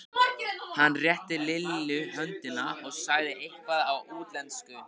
Hann rétti Lillu höndina og sagði eitthvað á útlensku.